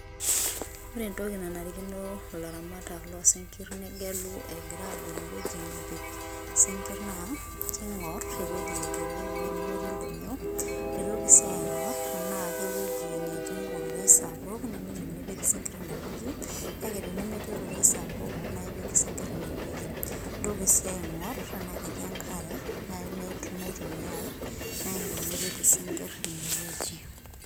ore entoki nanarikino ilaramatak loo sinkir negelu, egira agelu sinkir naa king'or ewueji neitoriori ewueji nemetii ildonyio, eitoki sii aing'or tenaa ke wueji netii ororei sapuk, tenaa ewueji nipik isinkir ine wueji, kake tenemetii ororei sapuk, naa ipik isinkir ine wueji. ntoki sii aing'uraa tenaa ketii enkare naitumiyae, naa ipik isinkir ine wueji.